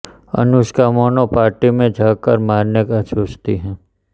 अनुष्का मोना को पार्टी में जाकर मारने का सोचती है